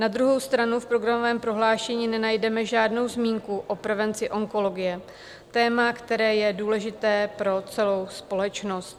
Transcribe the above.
Na druhou stranu v programovém prohlášení nenajdeme žádnou zmínku o prevenci onkologie - téma, které je důležité pro celou společnost.